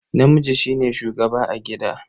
Namiji shine shugaba a gida.